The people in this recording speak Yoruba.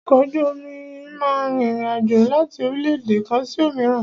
Ọkọ̀ ojú omi máà rìn ìrin àjò láti orílẹ̀-èdè kan sí òmíràn.